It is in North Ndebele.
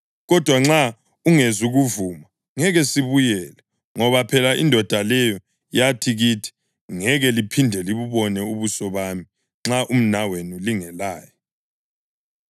Kodwa nxa ungezukuvuma, ngeke sibuyele, ngoba phela indoda leyo yathi kithi, ‘Ngeke liphinde libubone ubuso bami nxa umnawenu lingelaye.’ ”